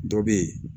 Dɔ bɛ ye